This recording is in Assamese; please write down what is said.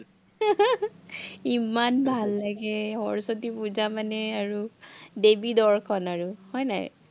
ইমান ভাল লাগে, সৰস্বতী পুজা মানে আৰু দেৱী দৰ্শন আৰু হয় নাই।